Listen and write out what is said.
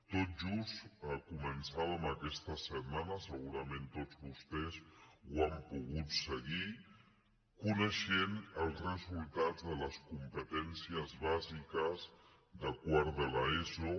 tot just començàvem aquesta setmana segura·ment tots vostès ho han pogut seguir coneixent els re sultats de les competències bàsiques de quart de l’eso